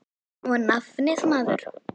Og nafnið, maður.